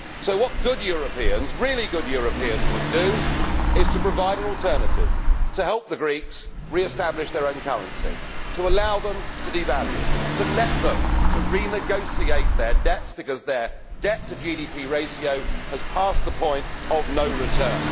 What good Europeans, really good Europeans, would do, is provide an alternative to help the Greeks re establish their own currency, to allow them to devalue, to let them renegotiate their debts, because their debt to GDP ratio has passed the point of no return.